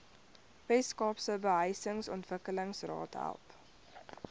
weskaapse behuisingsontwikkelingsraad help